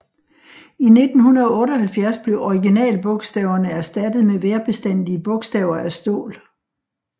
I 1978 blev originalbogstaverne erstattet med vejrbestandige bogstaver af stål